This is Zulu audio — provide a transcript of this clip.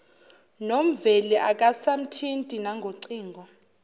nomveli akasamthinti nangocingo